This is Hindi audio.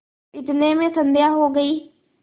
इतने में संध्या हो गयी